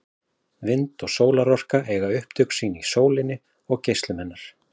Vind- og sólarorka eiga upptök sín í sólinni og geislum hennar.